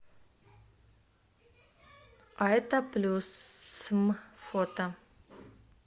айта плюсм фото